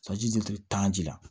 tan ji la